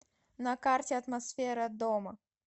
на карте атмосфера дома